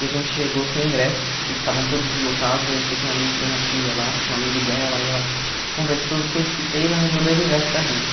E a gente chegou sem ingresso e estavam todos esgotados, aí eu sei que minha mãe entrou na fila lá, tinha um amigo dela, aí ela conversou, fez o que fez, arranjou dois ingressos para gente.